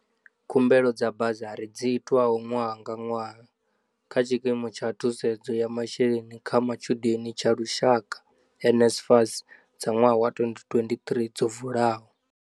Khumbelo dza basari dzi itwaho ṅwaha nga ṅwaha kha Tshikimu tsha Thusedzo ya Masheleni kha Matshudeni tsha Lushaka, NSFAS, dza ṅwaha wa 2023 dzo vula.